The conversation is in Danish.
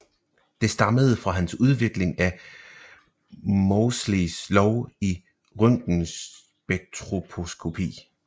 Det stammede fra hans udvikling af Moseleys lov i røntgenspektroskopi